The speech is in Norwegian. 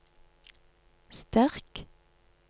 sterk